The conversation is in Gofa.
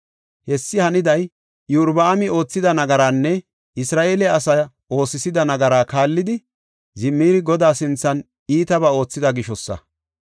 Hessi haniday Iyorbaami oothida nagaranne Isra7eele asaa oosisida nagaraa kaallidi Zimiri Godaa sinthan iitabaa oothida gishosa.